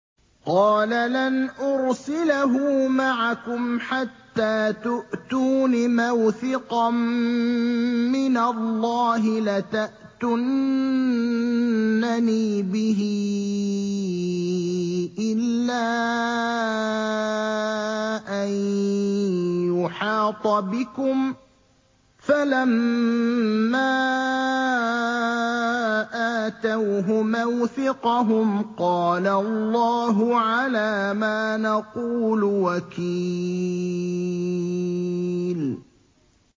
قَالَ لَنْ أُرْسِلَهُ مَعَكُمْ حَتَّىٰ تُؤْتُونِ مَوْثِقًا مِّنَ اللَّهِ لَتَأْتُنَّنِي بِهِ إِلَّا أَن يُحَاطَ بِكُمْ ۖ فَلَمَّا آتَوْهُ مَوْثِقَهُمْ قَالَ اللَّهُ عَلَىٰ مَا نَقُولُ وَكِيلٌ